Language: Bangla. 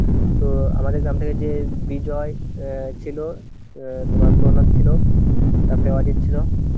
তো আমাদের গ্রাম থেকে যে বিজয় অ্যাঁ ছিল, তোমার প্রণব ছিল, তারপরে অজিত ছিল.